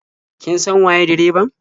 Kin san waye direban?